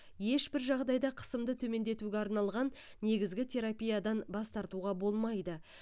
ешбір жағдайда қысымды төмендетуге арналған негізгі терапиядан бас тартуға болмайды